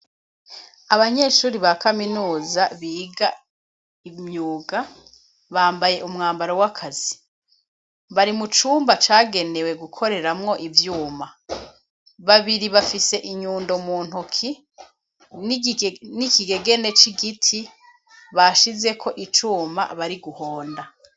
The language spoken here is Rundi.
Abanyeshuri ba kaminuza biga imyuga, bambaye umwambaro w'akazi bari mu cumba cagenewe gukoreramwo ivyuma. Babiri bafise inyundo mu ntoki n'ikigegene c'igiti bashizeko icuma bari guhonda.